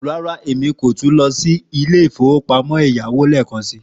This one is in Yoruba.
Rárá, Emi ko tun lọ si ilé ìfowópamọ́ ẹ̀yáwó lẹẹkansi.